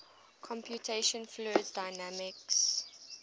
computational fluid dynamics